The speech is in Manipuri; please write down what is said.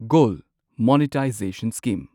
gold monetization scheme